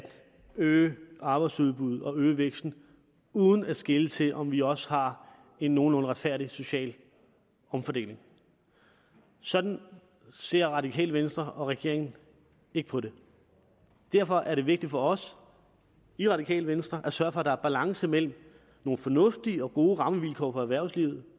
øge arbejdsudbuddet og øge væksten uden at skele til om vi også har en nogenlunde retfærdig social omfordeling sådan ser radikale venstre og regeringen ikke på det derfor er det vigtigt for os i radikale venstre at sørge for at der er balance mellem nogle fornuftige og gode rammevilkår for erhvervslivet